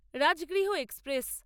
Rajgriha express